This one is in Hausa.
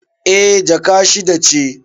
Eh, Jaka shida ce